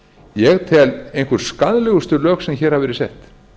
ég tel einhver skaðlegustu lög sem hér hafa verið sett